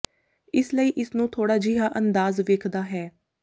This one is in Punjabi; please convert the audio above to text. ਇਸ ਲਈ ਇਸ ਨੂੰ ਥੋੜਾ ਜਿਹਾ ਅੰਦਾਜ਼ ਵੇਖਦਾ ਹੈ